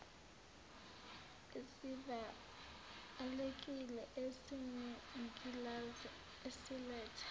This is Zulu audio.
esivalekile esinengilazi siletha